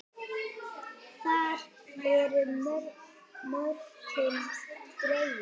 Þar eru mörkin dregin.